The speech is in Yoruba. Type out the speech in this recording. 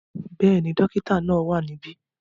Bẹ́ẹ̀ni, dókítà náà wà ní ibí